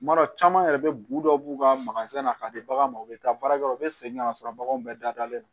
Kuma dɔ caman yɛrɛ bɛ bu dɔ b'u ka na ka di baganw ma u bɛ taa baarakɛlaw u bɛ segin ka sɔrɔ baganw bɛɛ dalen don